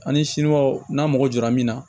Ani siniwaw n'a mago jɔra min na